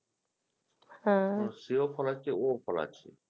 সেও ফলাচ্ছে ওও ফলাচ্ছে